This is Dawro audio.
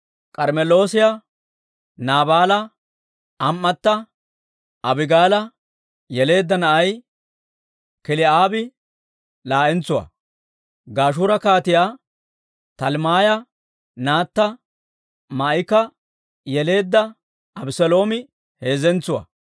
K'armmeloosiyaa Naabaala am"ata Abigaala yeleedda na'ay Kil"aabi laa'entsuwaa; Gashuura Kaatiyaa Talmmaaya naatta Maa'ika yeleedda Abeseeloomi heezzentsuwaa.